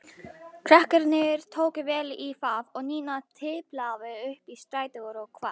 Krakkarnir tóku vel í það og Nína tiplaði upp í strætó og hvarf.